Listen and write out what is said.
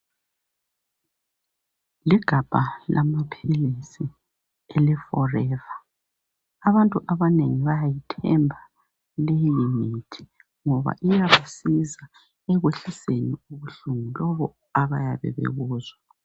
Ligabha lamaphilisi eleforever abantu abanengi bayayithemba leyi mithi ngoba iyabasiza ekwehliseni ubuhlungu lobu abayabe bebuzwa.